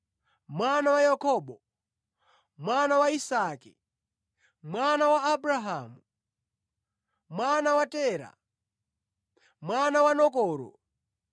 mwana wa Yakobo, mwana wa Isake, mwana wa Abrahamu, mwana wa Tera, mwana wa Nakoro,